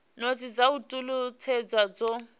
notsi dza u talutshedza zwo